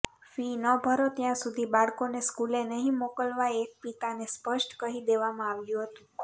fee ન ભરો ત્યાંસુધી બાળકોને સ્કુલે નહિ મોકલવા એક પિતાને સ્પષ્ટ કહી દેવામાં આવ્યું હતું